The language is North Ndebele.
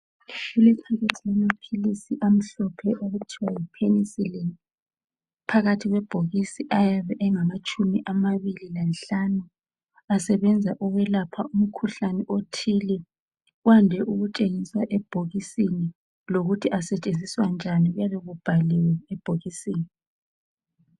Kulebhokisi lamapilisi amhlophe okuthiwa yipenisilini. Phakathi kwebhokisi ayabe engatshumi amabili lanhlanu. Asebenza ukwelapha umkhuhlane othile. Kwande ukutshengiswa ebhokisini lokuthi asetshenziswa njani kuyabe kubhaliwe ebhokisini.